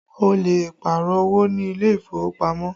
Ó lè Pààrọ̀ owó ní ilé ìfowópamọ́